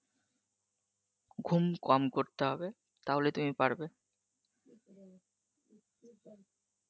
ঘুম কম করতে হবে তাহলেই তুমি পারবে